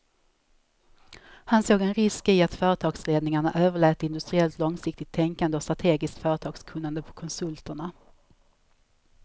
Han såg en risk i att företagsledningarna överlät industriellt långsiktigt tänkande och strategiskt företagskunnande på konsulterna.